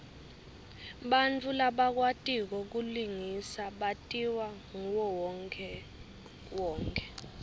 bantfu labakwatiko kulingisa batiwa nguwonkhewonkhe